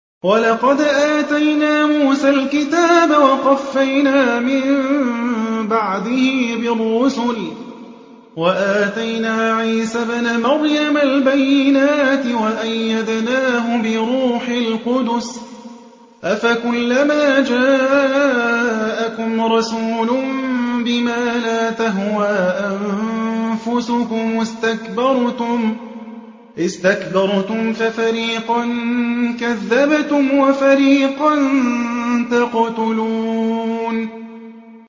وَلَقَدْ آتَيْنَا مُوسَى الْكِتَابَ وَقَفَّيْنَا مِن بَعْدِهِ بِالرُّسُلِ ۖ وَآتَيْنَا عِيسَى ابْنَ مَرْيَمَ الْبَيِّنَاتِ وَأَيَّدْنَاهُ بِرُوحِ الْقُدُسِ ۗ أَفَكُلَّمَا جَاءَكُمْ رَسُولٌ بِمَا لَا تَهْوَىٰ أَنفُسُكُمُ اسْتَكْبَرْتُمْ فَفَرِيقًا كَذَّبْتُمْ وَفَرِيقًا تَقْتُلُونَ